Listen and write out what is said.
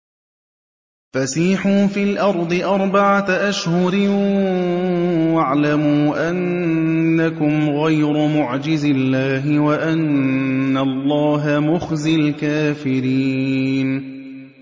فَسِيحُوا فِي الْأَرْضِ أَرْبَعَةَ أَشْهُرٍ وَاعْلَمُوا أَنَّكُمْ غَيْرُ مُعْجِزِي اللَّهِ ۙ وَأَنَّ اللَّهَ مُخْزِي الْكَافِرِينَ